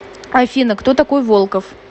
афина кто такой волков